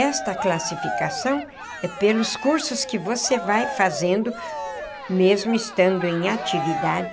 Esta classificação é pelos cursos que você vai fazendo mesmo estando em atividade.